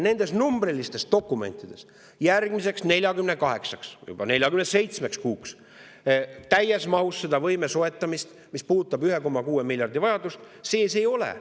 Nendes numbrilistes dokumentides järgmiseks 48-ks või nüüd juba 47 kuuks täies mahus seda võime soetamiseks, mis puudutab 1,6 miljardi suurust vajadust, sees ei ole.